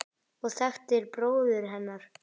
og þekktir bróður hennar.